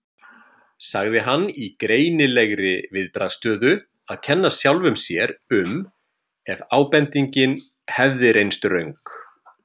sagði hann í greinilegri viðbragðsstöðu að kenna sjálfum sér um ef ábendingin hefði reynst röng.